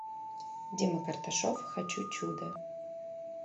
дима карташов хочу чуда